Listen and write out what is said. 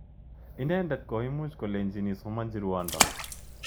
Inendet koimuch kolechin isomanchi rwondo